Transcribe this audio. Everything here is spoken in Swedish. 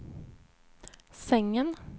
sängen